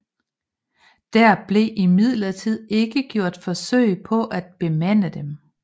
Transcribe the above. Der blev imidlertid ikke gjort forsøg på at bemande dem